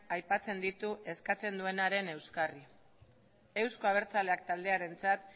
aipatzen ditu eskatzen duenaren euskarri euzko abertzaleak taldearentzat